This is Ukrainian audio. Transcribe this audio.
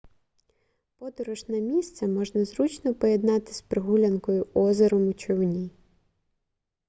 подорож на місце можна зручно поєднати з прогулянкою озером у човні